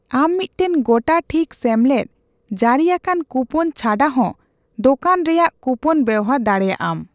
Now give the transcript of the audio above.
ᱟᱢ ᱢᱤᱫᱴᱟᱝ ᱜᱚᱴᱟ ᱴᱷᱤᱠ ᱥᱮᱢᱞᱮᱫ ᱡᱟᱹᱨᱤ ᱟᱠᱟᱱ ᱠᱩᱯᱚᱱ ᱪᱷᱟᱰᱟ ᱦᱚᱸ ᱫᱳᱠᱟᱱᱨᱮᱭᱟᱜ ᱠᱩᱯᱚᱱ ᱵᱮᱵᱦᱟᱨ ᱫᱟᱲᱮᱭᱟᱜᱼᱟᱢ᱾